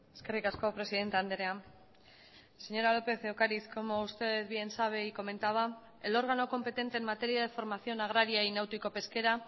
eskerrik asko presidente andrea señora lópez de ocariz como usted bien sabe y comentaba el órgano competente en materia de formación agraria y náutico pesquera